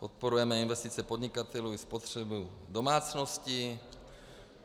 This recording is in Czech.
Podporujeme investice podnikatelů i spotřebu domácností.